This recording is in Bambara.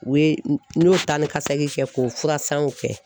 U ye n y'o taanikasegin kɛ k'o furasanw kɛ